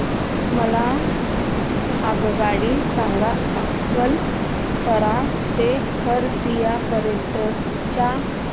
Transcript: मला आगगाडी सांगा अकलतरा ते खरसिया पर्यंत च्या